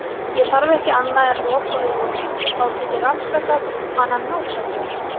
Ég þarf ekki annað en að loka augunum og þá get ég rannsakað hana nákvæmlega.